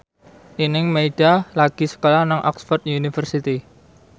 Nining Meida lagi sekolah nang Oxford university